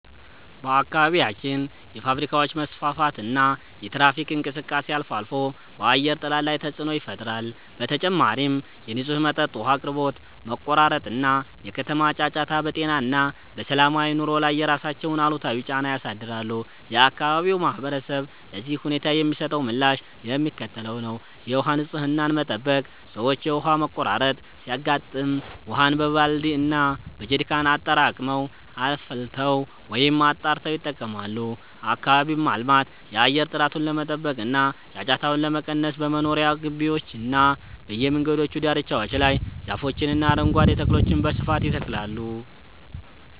በአካባቢያችን የፋብሪካዎች መስፋፋትና የትራፊክ እንቅስቃሴ አልፎ አልፎ በአየር ጥራት ላይ ተፅዕኖ ይፈጥራል። በተጨማሪም የንጹህ መጠጥ ውሃ አቅርቦት መቆራረጥ እና የከተማ ጫጫታ በጤና እና በሰላማዊ ኑሮ ላይ የራሳቸውን አሉታዊ ጫና ያሳድራሉ። የአካባቢው ማህበረሰብ ለዚህ ሁኔታ የሚሰጠው ምላሽ የሚከተለው ነው፦ የውሃ ንፅህናን መጠበቅ፦ ሰዎች የውሃ መቆራረጥ ሲያጋጥም ውሃን በባልዲ እና በጀሪካን አጠራቅመው፣ አፍልተው ወይም አጣርተው ይጠቀማሉ። አካባቢን ማልማት፦ የአየር ጥራቱን ለመጠበቅ እና ጫጫታውን ለመቀነስ በመኖሪያ ግቢዎችና በየመንገዱ ዳርቻዎች ላይ ዛፎችንና አረንጓዴ ተክሎችን በስፋት ይተክላሉ።